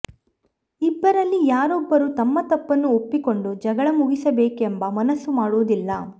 ಇಬ್ಬರಲ್ಲಿ ಯಾರೊಬ್ಬರೂ ತಮ್ಮ ತಪ್ಪನ್ನು ಒಪ್ಪಿಕೊಂಡು ಜಗಳ ಮುಗಿಸಬೇಕೆಂಬ ಮನಸ್ಸು ಮಾಡುವುದಿಲ್ಲ